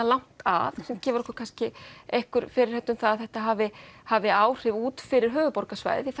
langt að sem gefur okkur kannski einhver fyrirheit um það að þetta hafi hafi áhrif út fyrir höfuðborgarsvæðið því